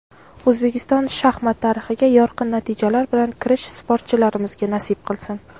O‘zbekiston shaxmat tarixiga yorqin natijalar bilan kirish sportchilarimizga nasib qilsin.